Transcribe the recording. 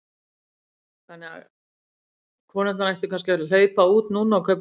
Þórhildur: Þannig að konurnar ættu kannski að hlaupa út núna og kaupa rósir?